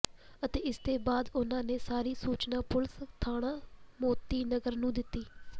ਅਤੇ ਇਸਦੇ ਬਾਅਦ ਉਨ੍ਹਾਂ ਨੇ ਸਾਰੀ ਸੂਚਨਾ ਪੁਲਿਸ ਥਾਣਾ ਮੋਤੀ ਨਗਰ ਨੂੰ ਦਿੱਤੀ